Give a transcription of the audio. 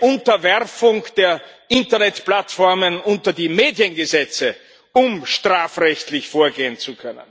Unterwerfung der Internetplattformen unter die Mediengesetze, um strafrechtlich vorgehen zu können.